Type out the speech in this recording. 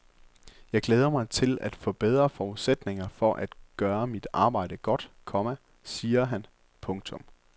Jeg glæder mig til at få bedre forudsætninger for at gøre mit arbejde godt, komma siger han. punktum